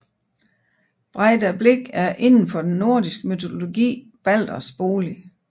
Breidablik er inden for den nordisk mytologi Balders bolig